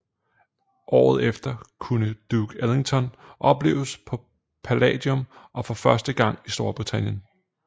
Året efter kunne Duke Ellington opleves på Palladium for første gang i Storbritannien